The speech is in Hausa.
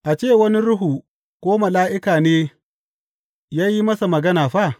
A ce wani ruhu ko mala’ika ne ya yi masa magana fa?